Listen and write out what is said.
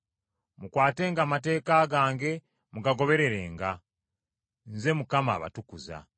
Mukwatenga amateeka gange, mugagobererenga. Nze Mukama abatukuza.